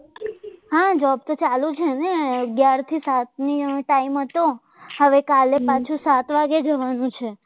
આ job તો ચાલુ છે ને અગ્યાર થી સાત ની ટાઈમ હતો હવે કાલે પાછું સાત વાગે જવાનું છે